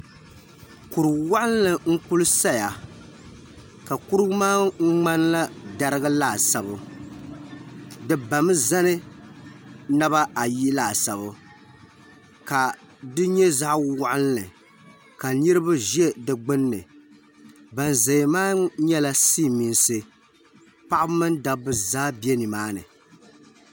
Kuriwaɣinli n kuli saya ka kurugu maa ŋmanila darigu laasabu di bamizani nabaayi laasabu ka di nyɛ zaɣawaɣinli ka niriba ʒɛ digbinni ba zaya maa nyɛla silimiinsi paɣaba mini dabba zaa be nimaani.